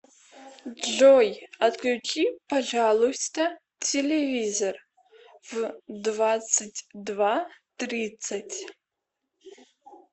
джой отключи пожалуйста телевизор в двадцать два тридцать